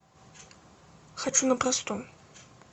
хочу на простом